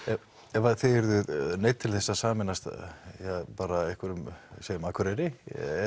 ef að þið yrðuð neydd til þess að sameinast ja bara segjum Akureyri